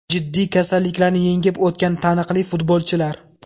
Jiddiy kasalliklarni yengib o‘tgan taniqli futbolchilar !